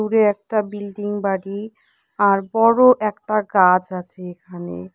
দূরে একটা বিল্ডিং বাড়ি আর বড় একটা গাছ আছে এখানে।